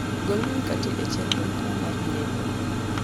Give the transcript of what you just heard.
gol mkate e chendro mara mar nyiepo